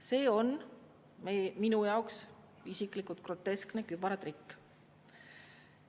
Isiklikult minu jaoks on see groteskne kübaratrikk.